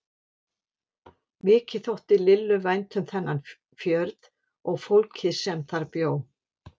Mikið þótti Lillu vænt um þennan fjörð og fólkið sem bjó þar.